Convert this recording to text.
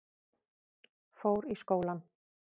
Fór í skólann.